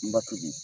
N ba tobi